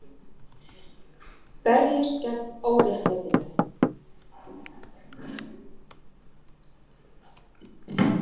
Berjist gegn óréttlætinu